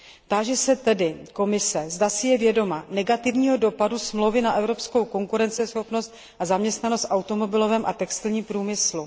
Táži se tedy Komise, zda si je vědoma negativního dopadu smlouvy na evropskou konkurenceschopnost a zaměstnanost v automobilovém a textilním průmyslu?